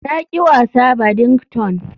Na ƙi wasa badington.